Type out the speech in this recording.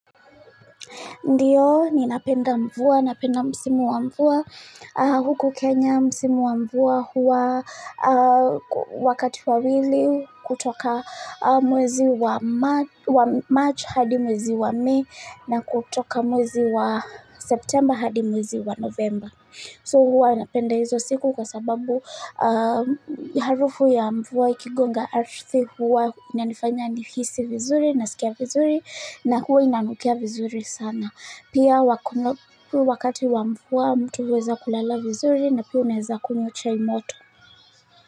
Ndiyo, ninapenda mvua, napenda msimu wa mvua huku Kenya, msimu wa mvua huwa wakati wa wili kutoka mwezi wa March hadi mwezi wa Mei na kutoka mwezi wa September hadi mwezi wa November. So huwa napenda hizo siku kwa sababu harufu ya mvua ikigonga hakika huwa inanifanya ni hisi vizuri nasikia vizuri na huwa inanukia vizuri sana. Pia wakati wa mvua mtu uweza kulala vizuri na pia unaeza kunywa chai moto.